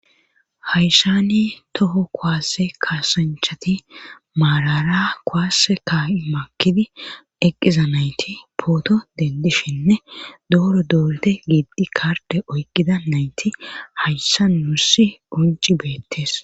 hayssani toho kuwase kasanchati maarara kuwase ka'i makidi eqqiza nayti pooto dendishinne dooro dooridi giiddi karde oykkida nayti hayssa wurssi qoncci beettees